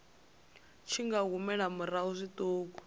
tshi nga humela murahu zwiṱuku